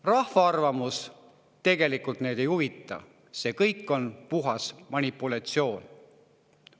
Rahva arvamus tegelikult neid ei huvita, see kõik on puhas manipulatsioon.